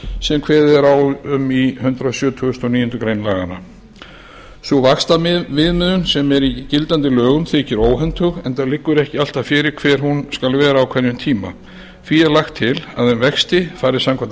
sem kveðið er á um í hundrað sjötugasta og níundu grein laganna sú vaxtaviðmiðun sem er í gildandi lögum þykir óhentug enda liggur ekki alltaf fyrir hver hún skal vera á hverjum tíma því er lagt til að um vexti fari samkvæmt